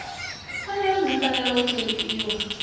pfanelo dzi fanela u ṱhonifhiwa